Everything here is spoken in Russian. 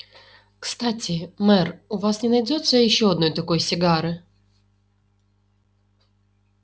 кстати мэр у вас не найдётся ещё одной такой сигары